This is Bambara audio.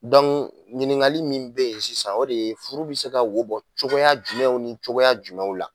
ɲiniŋali min be yen sisan o de ye furu bi se ka wo bɔ cogo jumɛnw ni cogoya jumɛnw la?